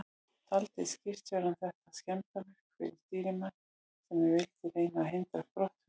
Taldi skipstjórinn þetta skemmdarverk fyrsta stýrimanns, sem enn vildi reyna að hindra brottför.